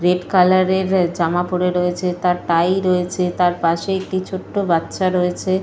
Red colour - এর জামা পড়ে রয়েছে। তার টাই রয়েছে। তার পাশে একটি ছোট বাচ্চা রয়েছে।